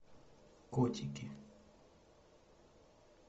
котики